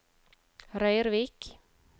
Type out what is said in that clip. Røyrvik